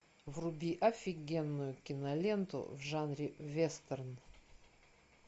вруби офигенную киноленту в жанре вестерн